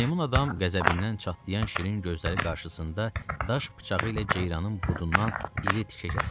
Meymun adam qəzəbindən çatlayan şirin gözləri qarşısında daş bıçağı ilə ceyranın budundan iri tikə kəsdi.